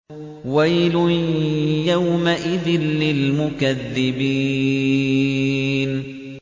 وَيْلٌ يَوْمَئِذٍ لِّلْمُكَذِّبِينَ